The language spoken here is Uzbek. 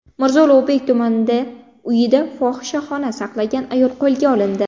Mirzo Ulug‘bek tumanida uyida fohishaxona saqlagan ayol qo‘lga olindi.